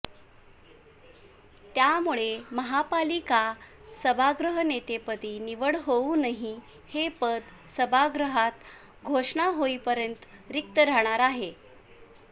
त्यामुळे महापालिका सभागृहनेतेपदी निवड होऊनही हे पद सभागृहात घोषणा होईपर्यंत रिक्त राहणार आहे